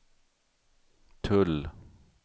tull